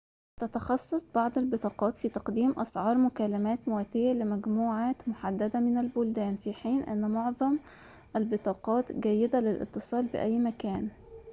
تتخصص بعض البطاقات في تقديم أسعار مكالمات مواتية لمجموعات محددة من البلدان في حين أن معظم البطاقات جيدة للاتصال بأي مكان